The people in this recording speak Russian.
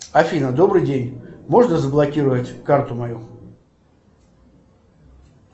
афина добрый день можно заблокировать карту мою